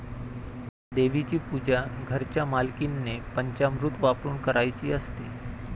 देवीची पूजा घरच्या मालकीणीने पंचामृत वापरून करायची असते.